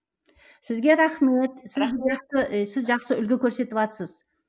сізге рахмет сіз жақсы үлгі көрсетіватсыз